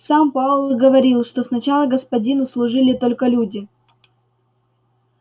сам пауэлл говорил что сначала господину служили только люди